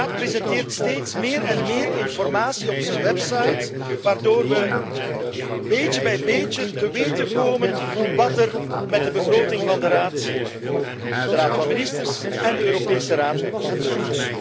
De Raad presenteert steeds meer en meer informatie op zijn website waardoor we beetje bij beetje te weten komen wat er met de begroting van de Raad, de Raad van Ministers en de Europese Raad gebeurt.